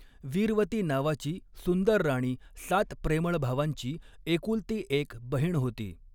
वीरवती नावाची सुंदर राणी सात प्रेमळ भावांची एकुलती एक बहीण होती.